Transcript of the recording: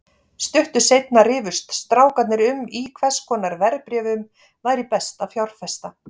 Stuttu seinna rifust strákarnir um í hvers konar verðbréfum væri best að fjárfesta.